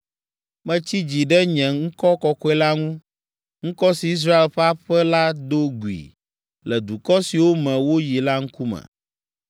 Metsi dzi ɖe nye ŋkɔ kɔkɔe la ŋu, ŋkɔ si Israel ƒe aƒe la do gui le dukɔ siwo me woyi la ŋkume.”